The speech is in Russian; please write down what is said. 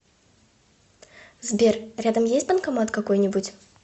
сбер рядом есть банкомат какой нибудь